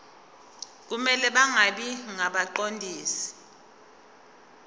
kumele bangabi ngabaqondisi